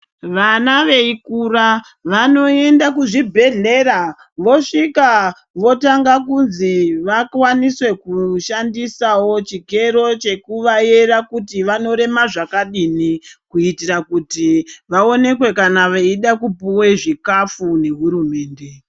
Vana veikura vanoenda kuzvibhedhlera vosvika votanga kunzi vakwanise kushandisawo chikero chekuvayera kuti vanorema zvakadini kuitira kuti vaonekwe kana veida kupuwe zvikafu nehurumende.